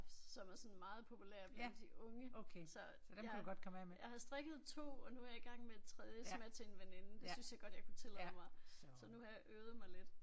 Som er sådan meget populære blandt de unge. Så jeg jeg har strikket 2 og nu er jeg igang med et tredje som er til en veninde det syntes jeg godt jeg kunne tillade mig så nu har jeg øvet mig lidt